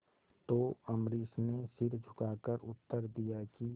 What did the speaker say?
तो अम्बरीश ने सिर झुकाकर उत्तर दिया कि